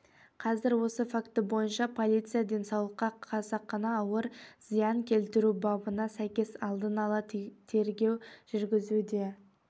қазір осы факті бойынша полиция денсаулыққа қасақана ауыр зиян келтіру бабына сәйкес алдын ала тергеу жүргізуде